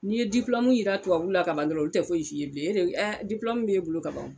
Ni ye jira tubabu la ka ban dɔrɔn o tɛ foyi f'i bilen ɛ b'i bolo ka ban